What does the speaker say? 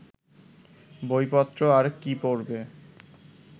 বইপত্র আর কি পড়বে